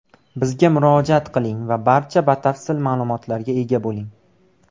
Bizga murojaat qiling va barcha batafsil ma’lumotlarga ega bo‘ling.